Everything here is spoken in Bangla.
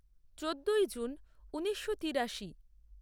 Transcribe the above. চোদ্দই জুন ঊনিশো তিরাশি